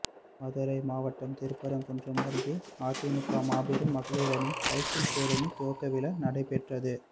மதுரை மாவட்டம் திருப்பரங்குன்றம் அருகே அதிமுக மாபெறும் மகளிரணி சைக்கிள் பேரணி துவக்க விழா நடைபெற்றது